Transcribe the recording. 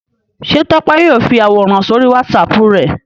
Ṣé Tọ́pẹ́ yóò fi àwòrán sórí WhatsApp rẹ̀?